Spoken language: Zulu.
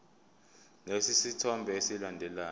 lesi sithombe esilandelayo